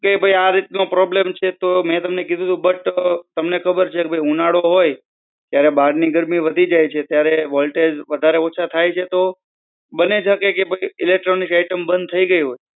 કે ભાઈ આ રીતનો problem છે તો મેં તમને કીધું તું કે બટ ભાઈ તમને ખબર છે ઉનાળો હોય તો બહારની ગરમી વધી જાય છે ત્યારે voltage વધારે ઓછા થાય છે તો બની શકે કે electronic item બંધ થઇ ગયી હોય.